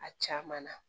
A caman na